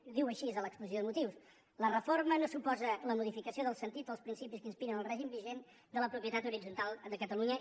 ho diu així a l’exposició de motius la reforma no suposa la modificació del sentit dels principis que inspiren el règim vigent de la propietat horitzontal de catalunya